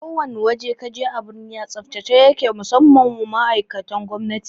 Ko wane waje kaje a birni a tsaftace yake sosai musamman ma ma'aikatan gwamnati